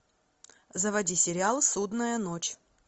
заводи сериал судная ночь